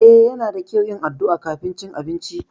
Eh Yana da kyau yin addu'a kafin cin abinci.